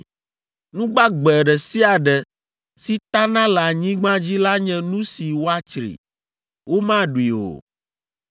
“ ‘Nu gbagbe ɖe sia ɖe si tana le anyigba dzi la nye nu si woatsri; womaɖui o.